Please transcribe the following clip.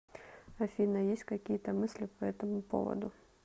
афина есть какие то мысли по этому поводу